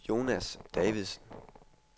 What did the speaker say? Jonas Davidsen